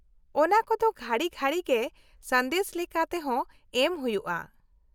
-ᱚᱱᱟ ᱠᱚᱫᱚ ᱜᱷᱟᱹᱲᱤ ᱜᱷᱟᱹᱲᱤ ᱜᱮ ᱥᱟᱸᱫᱮᱥ ᱞᱮᱠᱟ ᱛᱮᱦᱚᱸ ᱮᱢ ᱦᱩᱭᱩᱜᱼᱟ ᱾